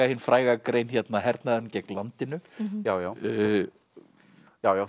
hin fræga grein hernaðurinn gegn landinu já já já já